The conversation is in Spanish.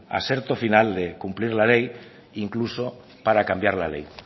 aserto final de cumplir la ley incluso para cambiar la ley